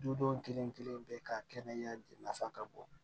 Dudenw kelen kelen bɛ ka kɛnɛ nafa ka bɔ